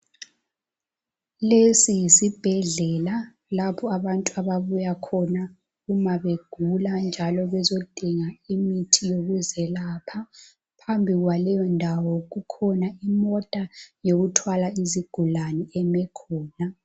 Lesi yisibhedlela lapho abantu ababuya khona uma begula njalo bezodinga imithi yokuzelapha. Phambi kwaleyo ndawo kukhona imota yokuthwala izigulane eme khona.